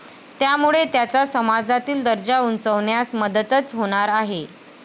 त्यामुळे त्याचा समाजातील दर्जा उंचावण्यास मदतच होणार आहे.